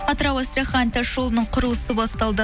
атырау астрахань тас жолының құрылысы басталды